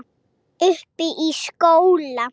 Uppi í skóla.